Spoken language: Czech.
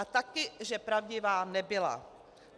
A taky že pravdivá nebyla.